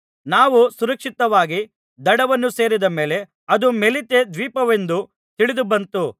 ನಾವು ಸುರಕ್ಷಿತವಾಗಿ ದಡವನ್ನು ಸೇರಿದ ಮೇಲೆ ಅದು ಮೆಲೀತೆ ದ್ವೀಪವೆಂದು ತಿಳಿದುಬಂತು